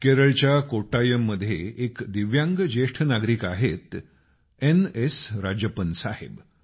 केरळच्या कोट्टायममध्ये एक दिव्यांग ज्येष्ठ नागरिक आहेतएन एस राजप्पन साहेब